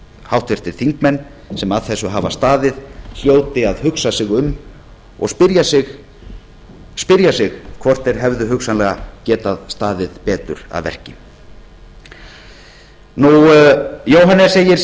háttvirtir þingmenn sem að þessu hafa staðið hljóti að hugsa sig um og spyrja sig hvort þeir hefðu hugsanlega getað staðið betur að verki jóhannes segir